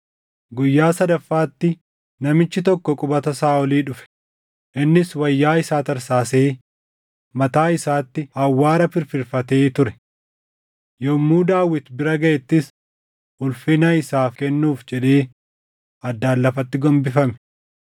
Guyyaa sadaffaatti namichi tokko qubata Saaʼolii dhufe; innis wayyaa isaa tarsaasee mataa isaatti awwaara firfirfatee ture. Yommuu Daawit bira gaʼettis ulfina isaaf kennuuf jedhee addaan lafatti gombifame.